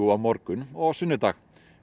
á morgun og á sunnudaginn